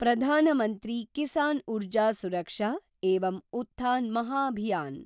Pradhan Mantri Kisan Urja Suraksha evam Utthan Mahabhiyan